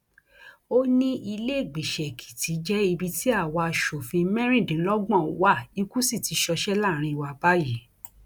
ó ní ìlèégbiṣẹ èkìtì jẹ ibi tí àwa asòfin mẹrìndínlọgbọn wa ikú sì ti ṣọṣẹ láàrin wa báyìí